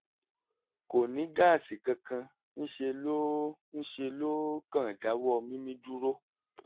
kò ní gáàsì kankan; ńṣe ló ńṣe ló kàn dáwọ́ mímí dúró